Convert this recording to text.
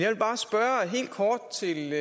støtte det